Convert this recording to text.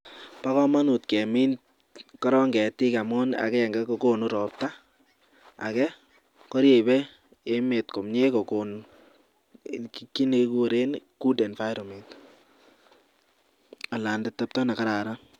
Ba kamanut kemin koron getik amun agenge kokonubrobta age koribe emet komie kokon kit nekikuren good environment anan atebto nekararan